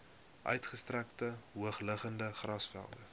uitgestrekte hoogliggende grasvelde